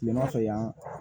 Kilema fɛ yan